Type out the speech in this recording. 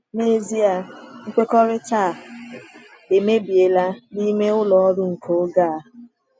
N’ezie, nkwekọrịta a emebiela n’ime ụlọ ọrụ nke oge a.